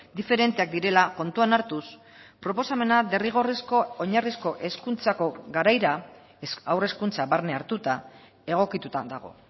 diferenteak direla kontuan hartuz proposamena derrigorrezko oinarrizko hezkuntzako garaira haur hezkuntza barne hartuta egokitutan dago